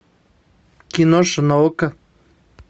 киноша на окко